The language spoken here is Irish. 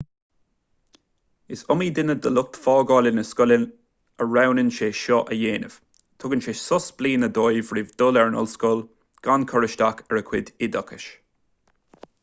is iomaí duine de lucht fágála na scoile a roghnaíonn sé seo a dhéanamh tugann sé sos bliana dóibh roimh dhul ar an ollscoil gan cur isteach ar a gcuid oideachais